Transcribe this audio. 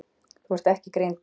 Þú ert ekki greindur.